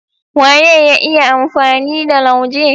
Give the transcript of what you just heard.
Waye ya iya amfani da lauje?